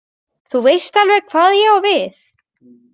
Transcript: Þú veist alveg hvað ég á við.